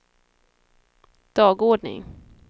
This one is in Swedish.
dagordning